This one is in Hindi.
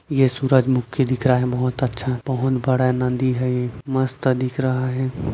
ये सूरजमुखी दिख रहा है बहुत अच्छा बहुत बड़ा नदी है ये मस्त दिख रहा है।